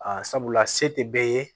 Aa sabula se tɛ bɛɛ ye